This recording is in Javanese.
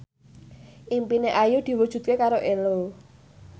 impine Ayu diwujudke karo Ello